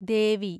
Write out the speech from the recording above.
ദേവി